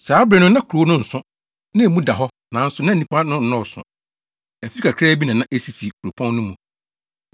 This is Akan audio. Saa bere no na kuropɔn no so, na emu da hɔ, nanso na nnipa no nnɔɔso. Afi kakraa bi na na esisi kuropɔn no mu.